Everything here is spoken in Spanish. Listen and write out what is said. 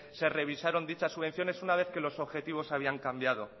se revisaron dichas subvenciones una vez que los objetivos se habían cambiado